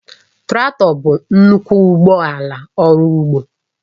Traktọ bụ nnukwu ụgbọ ala ọrụ ugbo